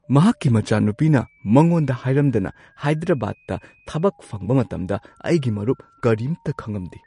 ꯃꯍꯥꯛꯀꯤ ꯃꯆꯥꯅꯨꯄꯤꯅ ꯃꯉꯣꯟꯗ ꯍꯥꯏꯔꯝꯗꯅ ꯍꯥꯏꯗ꯭ꯔꯕꯥꯗꯇꯥ ꯊꯕꯛ ꯐꯪꯕ ꯃꯇꯝꯗ ꯑꯩꯒꯤ ꯃꯔꯨꯞ ꯀꯔꯤꯝꯇ ꯈꯪꯉꯝꯗꯦ꯫